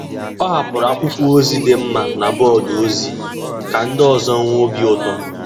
Ọ hapụrụ akwụkwọ ozi dị mma na bọọdụ ozi ka ndị ọzọ nwee obi ụtọ.